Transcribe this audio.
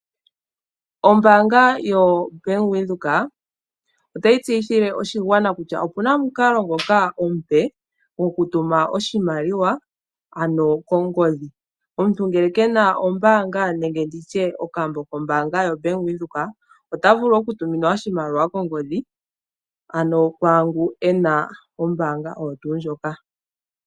Oombanga yaWindhoek otayi tseyithile oshigwana kutya opuna omukalo omupe gokutuma oshimaliwa ano kongodhi, omuntu ngele kena ombaanga nenge nditye okambo kombaanga yawindhoek ota vulu okutumina oshimaliwa kongodhi ano kwaangu ena ombanga oyo tuu ndjoka